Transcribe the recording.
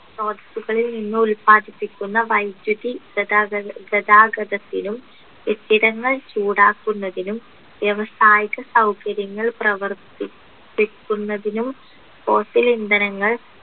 hospital ലിൽ നിന്ന് ഉൽപാദിപ്പിക്കുന്ന വൈദ്യുതി ഗതാഗത ഗതാഗതത്തിനും കെട്ടിടങ്ങൾ ചൂടാക്കുന്നതിനും വ്യവസായിക സൗകര്യങ്ങൾ പ്രവർത്തിപ്പിക്കുന്നതിനും fossil ഇന്ധനങ്ങൾ